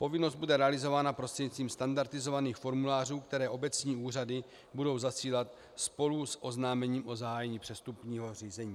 Povinnost bude realizována prostřednictvím standardizovaných formulářů, které obecní úřady budou zasílat spolu s oznámením o zahájení přestupního řízení.